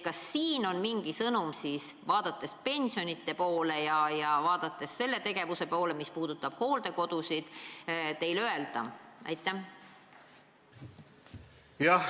Kas teil on neile mingi pensione ja hooldekodusid puudutav sõnum öelda?